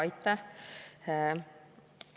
Aitäh!